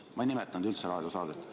Ma ei nimetanud üldse raadiosaadet.